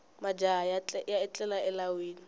majaha ya etlela elawini